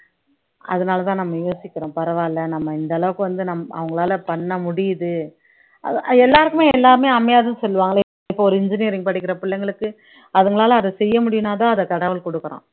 அதனாலதான் நம்ம யோசிக்கிறோம் பரவாயில்லை நம்ம இந்த அளவுக்கு வந்து அவங்களால பண்ண முடியுது எல்லாருக்குமே எல்லாமே அமையாதுன்னு சொல்லுவாங்களே இப்ப ஒரு engineering படிக்கிற பிள்ளைங்களுக்கு அதுங்கனால அத செய்ய முடியும்னாதான் அதை கடவுள் கொடுக்கிறான்